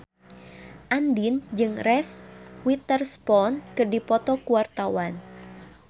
Andien jeung Reese Witherspoon keur dipoto ku wartawan